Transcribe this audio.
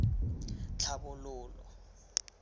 tlhabololo